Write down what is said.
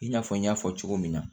I n'a fɔ n y'a fɔ cogo min na